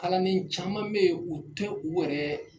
Kalanden caman bɛ ye u tɛ u yɛrɛ